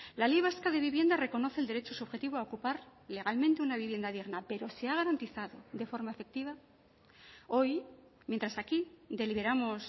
la ley vasca de vivienda reconoce el derecho subjetivo a ocupar legalmente una vivienda digna pero se ha garantizado de forma efectiva hoy mientras aquí deliberamos